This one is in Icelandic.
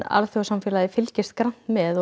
alþjóðasamfélagið fylgist grannt með